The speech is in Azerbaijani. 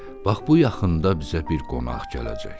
Bax bu yaxında bizə bir qonaq gələcək.